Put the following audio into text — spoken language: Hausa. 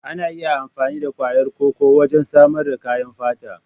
Ana iya amfani da ƙwayar koko wajen samar da kayan fata.